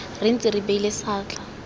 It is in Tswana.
re ntse re beile seatla